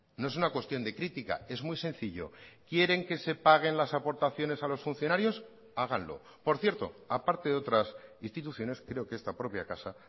no es una cuestión de crítica es muy sencillo quieren que se paguen las aportaciones a los funcionarios háganlo por cierto aparte de otras instituciones creo que esta propia casa